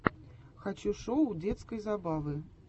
хочу шоу детской забавы